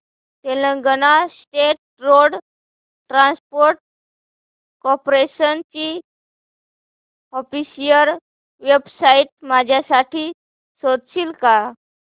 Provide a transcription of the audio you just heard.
Telangana state road transport corporation ची official website माझ्यासाठी शोधशील का